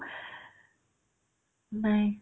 নাই